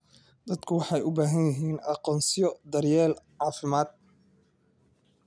Dadku waxay u baahan yihiin aqoonsiyo daryeel caafimaad.